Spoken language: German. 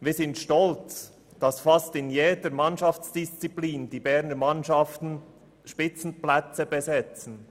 Wir sind auch stolz, dass die Berner Mannschaften beinahe in jeder Mannschaftsdisziplin Spitzenplätze besetzen.